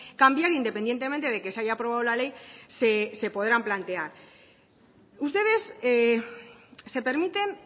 cambiar independientemente de que se haya aprobado la ley se podrán plantear ustedes se permiten